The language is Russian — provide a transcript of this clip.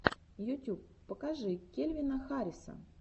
ютюб покажи кельвина харриса